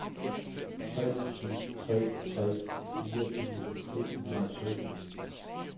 tre syv tre tre fireogtyve to hundrede og sytten